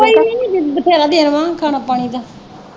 ਕੋਈ ਨਹੀਂ ਬਥੇਰਾ ਦਿਨ ਵਾ ਖਾਣਾ ਪਾਣੀ ਦਾ।